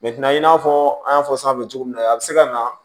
i n'a fɔ an y'a fɔ sanfɛ cogo min na a bɛ se ka na